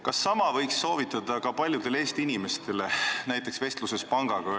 Kas sama võiks soovitada ka paljudele Eesti inimestele, näiteks suhtluses pangaga?